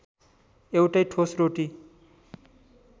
एउटै ठोस रोटी